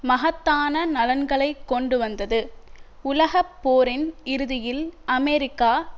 மகத்தான நலன்களை கொண்டுவந்தது உலக போரின் இறுதியில் அமெரிக்கா